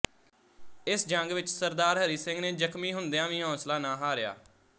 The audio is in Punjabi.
ਇਸ ਜੰਗ ਵਿੱਚ ਸ ਹਰੀ ਸਿੰਘ ਨੇ ਜ਼ਖ਼ਮੀ ਹੁੰਦਿਆਂ ਵੀ ਹੌਸਲਾ ਨਾ ਹਾਰਿਆ